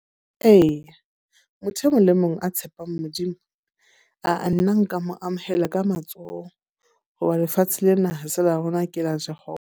Eya, motho e mong le mong a tshepang Modimo. Ah-ah nna nka mo amohela ka matsoho. Ho ba lefatshe lena ha se la rona ke la .